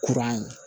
Kuran ye